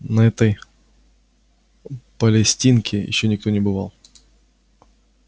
на этой палестинке ещё никто не бывал